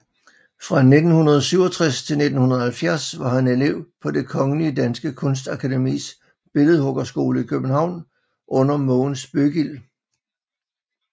Fra 1967 til 1970 var han elev på Det Kongelige Danske Kunstakademis billedhuggerskole i København under Mogens Bøggild